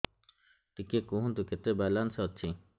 ଟିକେ କୁହନ୍ତୁ କେତେ ବାଲାନ୍ସ ଅଛି